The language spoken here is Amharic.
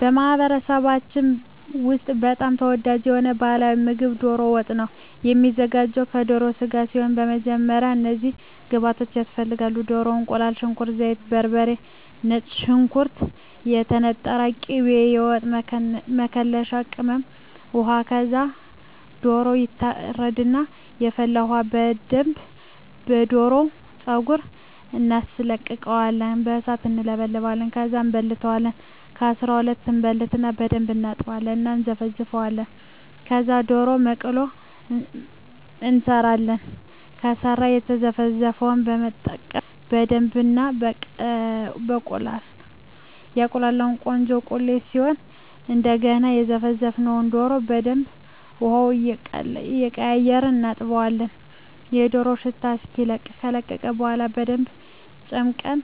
በማኅበረሰባችን ውስጥ በጣም ተወዳጅ የሆነው ባሕላዊ ምግብ ደሮ ወጥ ነው የሚዘጋው ከደሮ ስጋ ሲሆን በመጀመሪያ እነዚህን ግብአቶች እናዘጋጃለን። ደሮ፣ እቁላል፣ ሽንኩርት፣ ዘይት፣ በርበሬ፣ ነጭ ሽንኩርት፣ የተነጠረ ቅቤ፣ የወጥ መከለሻ ቅመም፣ ውሃ ከዛ ደሮው ይታረድና በፈላ ውሀ በደንብ የደሮውን ፀጉር እናስለቅቀውና በሣት እንለበልበዋለን። ከዛ እንበልተዋለን ከ12 እበልትና በደንብ እናጥብና እና እነዘፈዝፈዋለን። ከዛ የደሮ መቅሎ እንሠራለን። ከላይ የዘረዘርነውን በመጠቀም በደብ እናቁላላዋለን ቆንጆ ቁሌት ሲሆን እደገና የዘፈዘፍነውን ደሮ በደንብ ውሀውን እየቀያየርን እናጥበዋለን የደሮው ሽታ እስኪለቅ። ከለቀቀ በኋላ በደንብ ጨምቀን